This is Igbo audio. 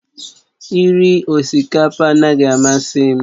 Iri osikapa anaghị amasị m